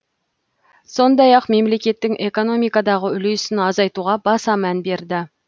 сондай ақ мемлекеттің экономикадағы үлесін азайтуға баса мән берді